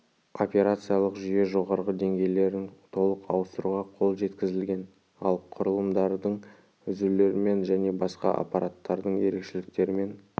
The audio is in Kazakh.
операциялық жүйе жоғарғы деңгейлерін толық ауыстыруға қол жеткізілген ал құрылымдардың үзулермен және басқа аппараттардың ерекшеліктерімен